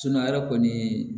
ala kɔni